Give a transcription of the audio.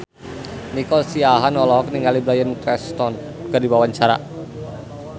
Nico Siahaan olohok ningali Bryan Cranston keur diwawancara